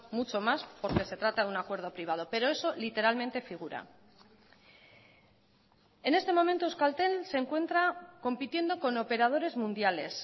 mucho más porque se trata de un acuerdo privado pero eso literalmente figura en este momento euskaltel se encuentra compitiendo con operadores mundiales